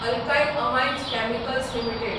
alkyl Amines Chemicals limited